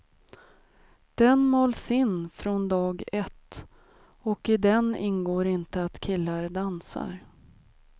Den mals in från dag ett, och i den ingår inte att killar dansar.